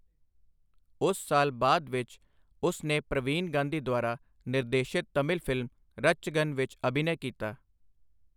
ਉਸ ਸਾਲ ਬਾਅਦ ਵਿੱਚ, ਉਸ ਨੇ ਪ੍ਰਵੀਨ ਗਾਂਧੀ ਦੁਆਰਾ ਨਿਰਦੇਸ਼ਿਤ ਤਮਿਲ ਫ਼ਿਲਮ ਰਤਚਗਨ ਵਿੱਚ ਅਭਿਨੈ ਕੀਤਾ।